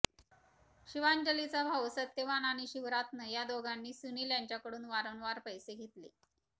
शिवांजलीचा भाऊ सत्यवान आणि शिवरात्न या दोघांनी सुनील यांच्याकडून वारंवार पैसे घेतले